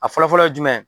A fɔlɔ fɔlɔ ye jumɛn ye